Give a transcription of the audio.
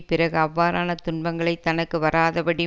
பிறகு அவ்வாறான துன்பங்கள் தனக்கு வாராதபடி